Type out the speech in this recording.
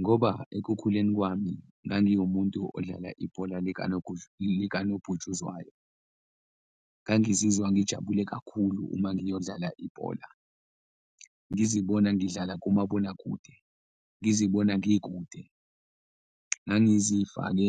Ngoba ekukhuleni kwami ngangiwumuntu odlala ibhola likanobhutshuzwayo. Ngangizwa ngijabule kakhulu uma ngiyodlala ibhola, ngizibona ngidlala kumabonakude, ngizibona ngikude, ngangizifake